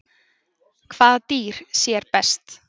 Hvaða dýr sér best?